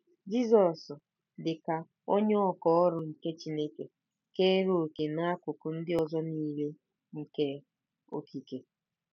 Jizọs, dị ka “onye ọkà ọrụ” nke Chineke, keere òkè n'akụkụ ndị ọzọ nile nke okike.